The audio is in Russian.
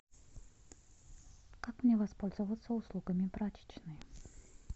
как мне воспользоваться услугами прачечной